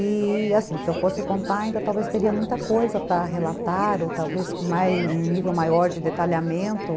E, assim, se eu fosse contar ainda, talvez teria muita coisa para relatar, ou talvez um nível maior de detalhamento.